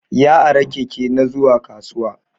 Ya ara Keke na zuwa kasuwa.